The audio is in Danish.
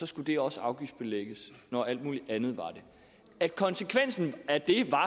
skulle det også afgiftsbelægges når alt muligt andet var det at konsekvensen af det